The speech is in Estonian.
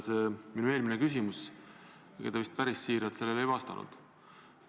See minu eelmine küsimus – ega te vist päris siiralt sellele ei vastanud.